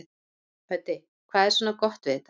Hödd: Hvað er svona gott við þetta?